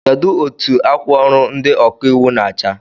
Kedụ etụ akwa ọrụ ndị ọkà íwú na-acha?